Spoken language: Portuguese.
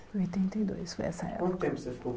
Oitenta e dois, foi essa época. Quanto tempo você ficou